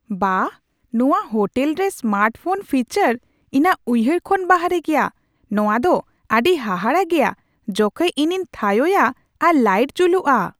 ᱵᱟᱦ, ᱱᱚᱶᱟ ᱦᱳᱴᱮᱞ ᱨᱮ ᱥᱢᱟᱨᱴ ᱦᱳᱢ ᱯᱷᱤᱪᱟᱨ ᱤᱧᱟᱹᱜ ᱩᱭᱦᱟᱹᱨ ᱠᱷᱚᱱ ᱵᱟᱦᱨᱮ ᱜᱮᱭᱟ ᱾ ᱱᱚᱶᱟ ᱫᱚ ᱟᱹᱰᱤ ᱦᱟᱦᱟᱲᱟ ᱜᱮᱭᱟ ᱡᱚᱠᱷᱮᱡ ᱤᱧᱤᱧ ᱛᱷᱟᱭᱳᱼᱭᱟ ᱟᱨ ᱞᱟᱹᱭᱤᱴ ᱡᱩᱞᱩᱜᱼᱟ ᱾